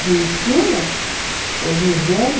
De ensino? Uhum... Exigente.